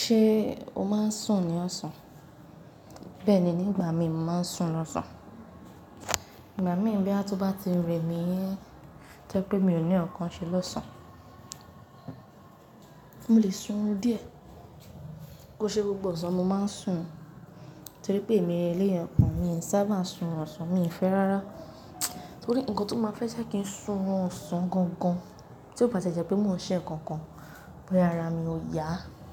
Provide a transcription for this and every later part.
Ṣé o máa ń sùn ní ọ̀sán? Bẹ́ẹ̀ni, nígbà mi màá ń sùn lọ́sàn-án. Igba mi bí a tó bá ti rẹ mí yẹn, tó pé mi ò ní ọ̀kan ṣe lọ́sán. Mo lè sun ún díẹ̀. Kò ṣe gbogbo ọ̀sán mo máa ń sùn. Torí pé mi eléyàn kan, mi ò sábà sùn ọ̀sán, mi ò fẹ́ rárá. Torí ǹkan tó máa fẹ́ jẹ́ kí n sùn ọ̀sán gangan tí ó bá ti jẹ́ pé mò ń ṣe ǹkan kan, bóyá ara mi ò yá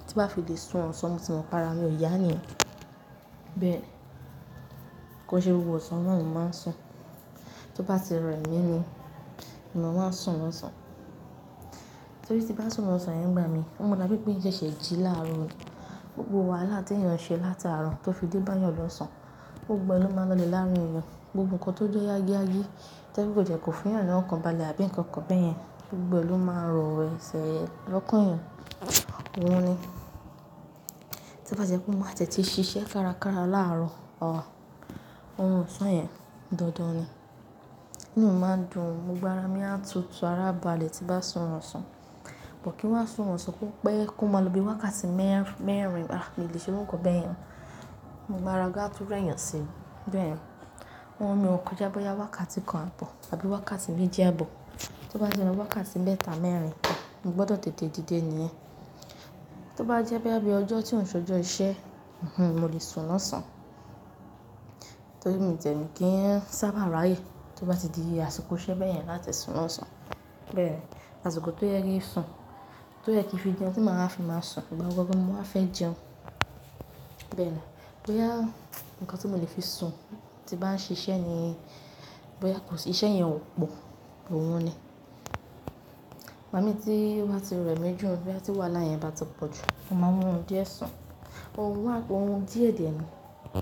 tí bá fi lè sùn ọ̀sán mo ti mọ̀ pé ara mi ò yá ní. Bẹ́ẹ̀ ni. Kò ṣe gbogbo ọ̀sán náà mo máa ń sùn. Tó bá ti rẹ́ mí ni, mo máa ń sùn lọ́sán. Torí tí bá sùn lọ́sán yẹn gbà mí, ó mọ̀ dá pé pé sẹsẹ̀ jí láàárọ̀ mi. Gbogbo wàhálà tí èèyàn ṣe láti àárọ̀ tó fi dé bá yàn lọ́sán, gbogbo ẹ ló máa lọlẹ̀ láàárín èèyàn. Gbogbo ǹkan tó jẹ́ yági yági tó kò jẹ́ kó fi hàn ní ọ̀kan balẹ̀ àbí ǹkan kan bẹ́ẹ̀ yẹn, gbogbo ẹ ló máa rọ̀ ẹsẹ̀ lọ́kan eyan. Òun ni. Ti bá jẹ́ pé wọn ma tẹ̀tí ṣiṣẹ́ kárakára láàárọ̀ o, orun ọ̀sán yẹn dandan ni. Mi ò máa ń dùn ún, gbogbo ara mi á tutù ará balẹ̀ tí bá sùn ọ̀sán. Kò kí wọ́n sùn ọ̀sán púpọ̀ pé kó máa lo bí wákàtí mẹ́rin lára kí lè ṣe ohun kan bẹ́ẹ̀ yẹn. Gbogbo ara ga tú rẹ́yàn sí i. Bẹ́ẹ̀ ni. Amọn mi ọkọ já bóyá wákàtí kan àbọ̀ àbí wákàtí méjẹ́ àbọ̀. Tó bá jẹ́ lọ́wọ́ wákàtí mẹ́ta mẹ́rin, mo gbọdọ̀ tètè dìde nìyẹn. Tó bá jẹ́ pé bí i ọjọ́ tí òun sojọ́ iṣẹ́, mo lè sùn lọ́sán. Torí mi jẹ̀mí kí n sábà ráyè tó bá ti di asiko iṣẹ́ bẹ́ẹ̀ yẹn láti sùn ọ̀sán. Bẹ́ẹ̀ ni. Àṣìkò tó yẹ kí sùn, tó yẹ kí fi jẹun tí màá fi máa sùn, ìgbà gbogbo mo máa fẹ́ jẹun. Bẹ́ẹ̀ ni. Bóyá ǹkan tí mo lè fi sùn tí bá ń ṣiṣẹ́ ni, bóyá kò sì iṣẹ́ yẹn ò pò, òhun ni. Igba mi tí wá ti rẹ mí jù, bí a ti wàhalá yé ń bá ti pọ̀ jù, mo máa mú ún díẹ̀ sùn. Ohun wà, ohun díẹ̀ dè ẹ́ ni.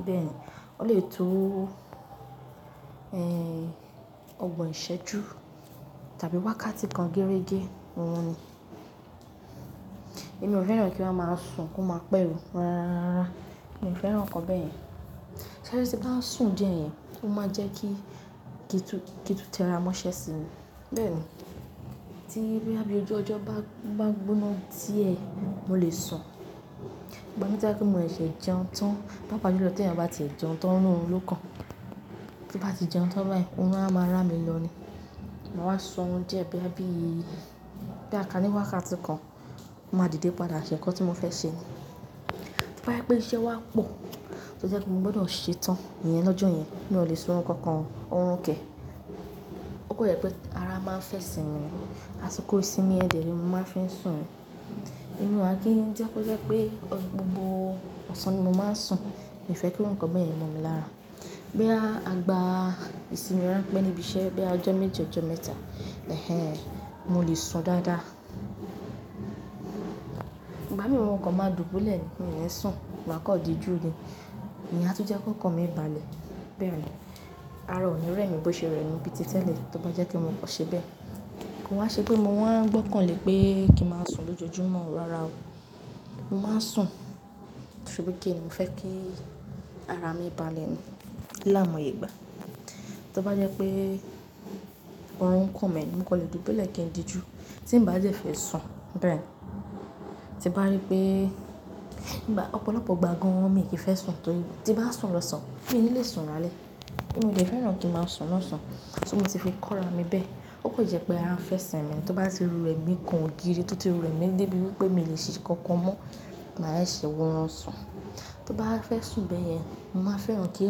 Bẹ́ẹ̀ ni. Ó lè tó, ẹ́, ọ̀gbọ́n ìṣẹ́ ju tàbí wákàtí kan géregé, òhun ni. Èmi ò fẹ́ràn kí wọ́n máa ń sùn kó máa pẹ́ orí rárá. Mi ò fẹ́ràn ǹkan bẹ́ẹ̀ yẹn. Torí tí bá ń sùn díẹ̀ yẹn, ó máa ń jẹ́ kí ìí tún tẹ́ra mọ́ṣẹ́ sí i. Bẹ́ẹ̀ ni. Tí bí i ọjọ́ ọjọ́ bá ń gbóná díẹ̀, mo lè sùn. Gba mi já pé mo lè ṣẹ́ jẹun tán pápa ju lọ tí èèyàn bá ti jẹun tán lọ́kàn. Tó bá ti jẹun tán bá yẹn, òhun á máa rà mí lọ ni. Mo máa sùn díẹ̀ bí i, bí i ká ní wákàtí kan, mo máa dìde padà ṣe ǹkan tí mo fẹ́ ṣe ni. Tó bá jẹ́ pé iṣẹ́ wá pọ̀ tó jẹ́ kó mo gbọdọ̀ ṣe tán ìyẹn lọ́jọ́ yẹn, mi ò lè sùn kankan, òhun kẹ̀. Ó kọ̀ jẹ́ pé ara máa ń fẹ́ sìn mi. Àṣìkò ìsinmi ẹ̀dẹ̀ ni mo máa ń fi sùn. Ìnú wa kí n jẹ́ kó jẹ́ pé gbogbo ọ̀sán ni mo máa ń sùn, mi ò fẹ́ kí ǹkan bẹ́ẹ̀ yẹn mọ̀ mi lára. Bí a gba ìsinmi rán pẹ́ níbi iṣẹ́ bí i ọjọ́ méje ọjọ́ mẹ́ta, mo lè sùn dáadáa. Gba mi mọ̀ ǹkan máa dùn ún bólẹ̀ ni, mo lè sùn, bàkan ò di jù ni. Ìyen à tún jẹ́ kó ǹkan mì balẹ̀. Bẹ́ẹ̀ ni. Ara ò ní rẹ mí bó ṣe rẹ mí bíi ti tẹ́lẹ̀ tó bá jẹ́ kó mo kọ́ṣẹ́ bẹ́ẹ̀. Kò ha ṣe pé mo máa gbọ́kàn lé pé kí n máa sùn lójoojúmọ́ rárá o. Mo máa ń sùn torí pé kí n, mo fẹ́ kí ara mi balẹ̀ ni láàmú ìgbà. Tó bá jẹ́ pé ohun kan mẹ́ mi, mo kọ̀ lè dùn bólẹ̀ kí n di jù tí ń bá jẹ́ fí sùn. Bẹ́ẹ̀ ni. Ti bá rí pé, ọ̀pọ̀lọpọ̀ ìgbà gan-an mi kì í fẹ́ sùn torí tí bá sùn lọ́sán, mí ò ní lè sùn rálé. Mi ò lè fẹ́ràn kí n máa sùn lọ́sán. Torí mo ti fi kọ́ra mi bẹ́ẹ̀. Ó kọ̀ jẹ́ pé ara ń fẹ́ sìn mi. Tó bá ti lu rẹ́ mi kan ògiri tó ti lu rẹ́ mi débi wípé mi ò lè ṣe kankan mọ́, màá ṣe ohun ọ̀sán. Tó bá fẹ́ sùn bẹ́ẹ̀ yẹn, màá fẹ́ràn kí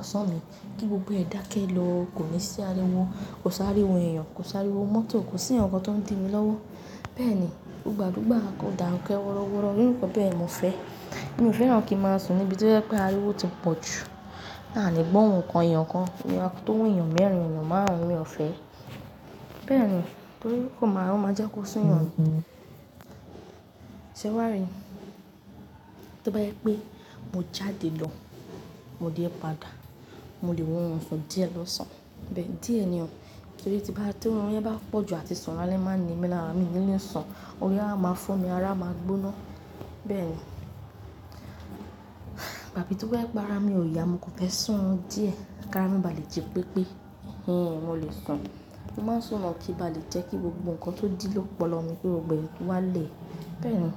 ọ̀sán mi kí gbogbo ẹ̀ dákẹ́ lọ, kò ní sí ariwo, kò sí ariwo èèyàn, kò sí ariwo mọ́tò, kò sí ǹkan tó ń di mi lọ́wọ́. Bẹ́ẹ̀ ni. Gba gbogbo àkókò dà nkẹ́ wọ́rọ́wọ́rọ́, irú kọ̀ bẹ́ẹ̀ mo fẹ́. Èmi ò fẹ́ràn kí n máa sùn níbi tí ó jẹ́ pé ariwo ti pọ̀ jù. Láàní gbọ́ ohùn kan, eyàn kan, tó wù yàn mẹ́rin, yàn márùn-ún mi ò fẹ́. Bẹ́ẹ̀ ni. Torí kò máa, ó máa jẹ́ kó sún yàn ni. Ṣé wàá rí i? Tó bá jẹ́ pé mo jáde lọ, mo dé padà, mo lè wo orun sun díẹ̀ lọ́sán. Bẹ́ẹ̀ ni. Díẹ̀ ni o. Torí tí orun yẹn bá pọ̀ jù àti sùn rálé máa ń ni mí lára, mi ò ní lè sùn. Òye á máa fún mi ara, máa gbóná. Bẹ́ẹ̀ ni. Gba mi tó bá jẹ́ pé ara mi ò yá, mo kò fẹ́ sùn ún díẹ̀ kí ara mi balẹ̀ ju pépé. Hinhin, mo lè sùn. Mo máa ń sùn mọ́ kí bá lè jẹ́ kí gbogbo ǹkan tó dí lọ́pọ̀lọpọ̀ mi gbogbo ẹ kí o wá lè. Bẹ́ẹ̀ ni.